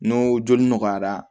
N'o joli nɔgɔyara